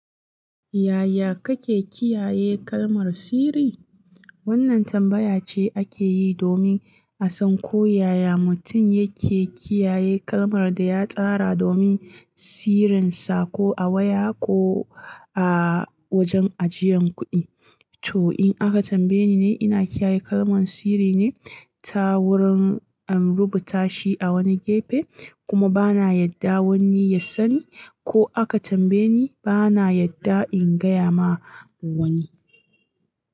Yaya kake kiyaye kalmar sirri? Wannan tambaya ce ake yi domin a san ko yaya mutum yake kiyaye kalmar da ya tsara domin sirrinsa ko a waya ko a wajen ajiyan kuɗi. To in aka tambaye ni ne ina kiyaye kalman sirri ne, ta wurin in rubuta shi a wani gefe kuma bana yarda wani ya sani. Ko aka tambaye ni bana yarda in gaya ma wani.